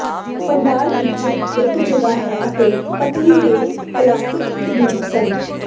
ਭੰਡਾਰ ਵਿੱਚ ਇੱਕ ਜਗ੍ਹਾ ਹੈ ਅਤੇ ਪਤਲੀ ਦੇ ਕਲਾਸੀਕਲ ਰੂਪ ਹਨ